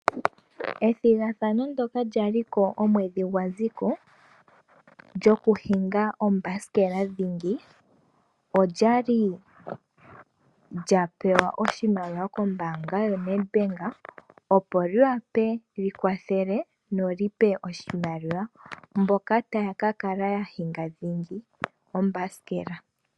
Ethigathano ndoka lya liko omwedhi gwa ziko lyuudhano wuuthanguthangu. Olya li lya pewa oshimaliwa kombaanga yo NEDBank opo li gandje oshimaliwa kaasindani dhingi.